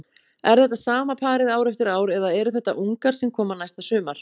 Er þetta sama parið ár eftir ár eða eru þetta ungar sem koma næsta sumar?